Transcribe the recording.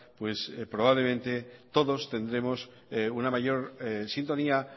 pues probablemente todos tendremos una mayor sintonía